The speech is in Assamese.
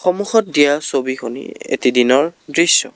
সন্মুখত দিয়া ছবিখনি এটি দিনৰ দৃশ্য।